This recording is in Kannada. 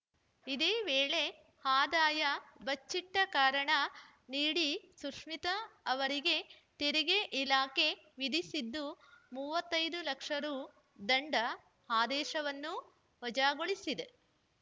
ಇದೇ ವೇಳೆ ಆದಾಯ ಬಚ್ಚಿಟ್ಟಕಾರಣ ನೀಡಿ ಸುಶ್ಮಿತಾ ಅವರಿಗೆ ತೆರಿಗೆ ಇಲಾಖೆ ವಿಧಿಸಿದ್ದ ಮೂವತೈದು ಲಕ್ಷ ರು ದಂಡ ಆದೇಶವನ್ನೂ ವಜಾಗೊಳಿಸಿದೆ